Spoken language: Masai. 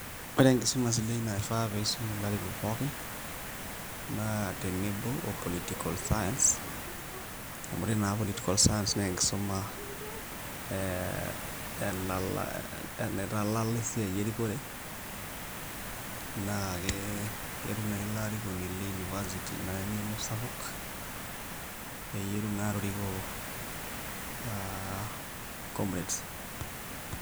Ore enkisuma sidai naa kifaa pisum ilarikok pookin, naa tenebo o political science, amu ore naa political science naa enkisuma eh naitalala esiai erikore, naa ketum nai ilo arikoni le University naa eng'eno sapuk, peyie etum naa atoriko ah comrades.